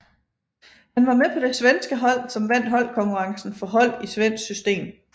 Han var med på det svenske hold som vandt holdkonkurrencen for hold i svensk system